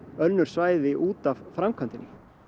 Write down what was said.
önnur svæði út af framkvæmdinni